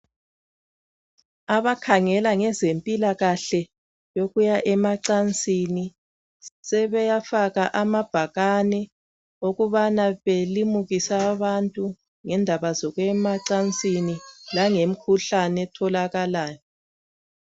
Abakhangela ngezempilakahle yokuya emancini sebafaka amabhakane okubana belimukise abantu ngendaba zokuya emacansi langemikhuhlane etholakalayo.